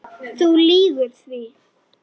Þú lýgur því.